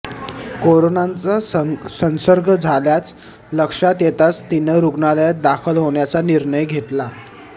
कोरोनाचा संसर्ग झाल्याचं लक्षात येताच तिनं रुग्णालयात दाखल होण्याचा निर्णय घेतला होता